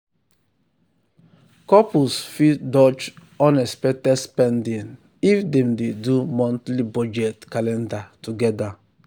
couples fit dodge unexpected spending if dem dey do monthly budget calendar together.